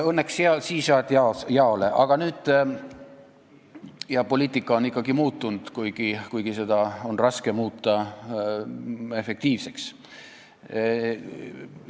Õnneks siis saadi jaole ja poliitika on ikkagi muutunud, kuigi seda on raske muuta efektiivseks.